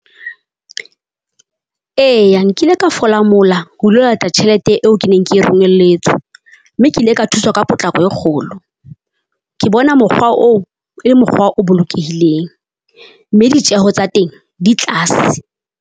Eya nkile ka fola mola ho lo lata tjhelete eo ke neng ke romelletswe, mme ke ile ka thuswa ka potlako e kgolo. Ke bona mokgwa oo e le mokgwa o bolokehileng, mme ditjeho tsa teng di tlase.